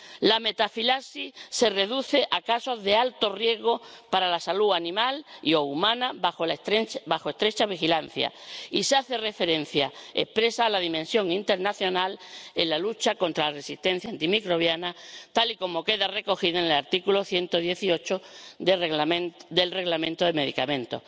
La metafilaxis se reduce a casos de alto riesgo para la salud animal y o humana bajo estrecha vigilancia, y se hace referencia expresa a la dimensión internacional en la lucha contra la resistencia antimicrobiana, tal y como queda recogido en el artículo 118 del Reglamento sobre medicamentos.